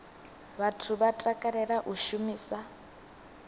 vhathu vha takalela u shumisa